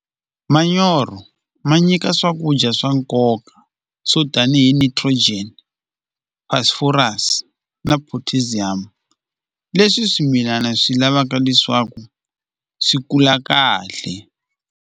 Manyoro ma nyika swakudya swa nkoka swo tanihi nitrogen phosphorus na potassium leswi swimilana swi lavaka leswaku swi kula kahle.